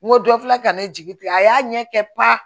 N ko dɔ filɛ ka ne jigi ten a y'a ɲɛ kɛ pa